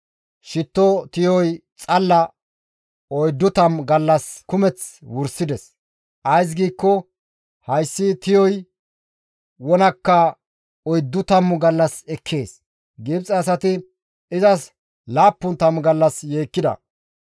Shitto tiyoy xalla 40 gallas kumeth wursides; ays giikko hayssi tiyoy wonakka oyddu tammu gallas ekkees. Gibxe asati izas laappun tammu gallas yeekkida.